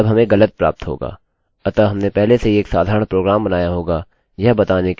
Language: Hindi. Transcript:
अतः हमने पहले से ही एक साधारण प्रोग्राम बनाया होगा यह बताने के लिए यदि एक संख्या दूसरी संख्या के समान है